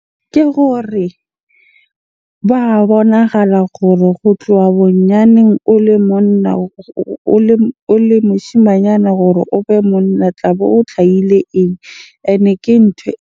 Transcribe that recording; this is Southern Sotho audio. Ke gore ba bonagala gore go tloha bonyaneng o le monna, o le moshimanyana gore o be monna tlabe o tlhahile eng? Ene ke .